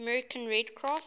american red cross